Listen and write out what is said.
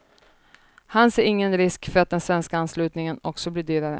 Han ser ingen risk för att den svenska anslutningen också blir dyrare.